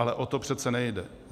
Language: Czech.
Ale o to přece nejde.